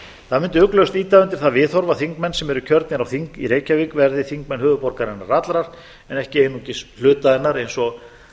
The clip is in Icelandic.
það mundi ugglaust ýta undir það viðhorf að þingmenn sem eru kjörnir á þing í reykjavík verði þingmenn höfuðborgarinnar allrar en ekki einungis hluta hennar eins og